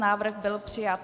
Návrh byl přijat.